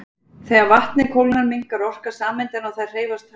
Þegar vatnið kólnar minnkar orka sameindanna og þær hreyfast hægar.